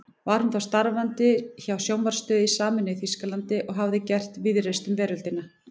Var hún þá starfandi hjá sjónvarpsstöð í sameinuðu Þýskalandi og hafði gert víðreist um veröldina.